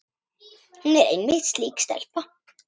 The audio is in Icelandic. Hún er einmitt slík stelpa.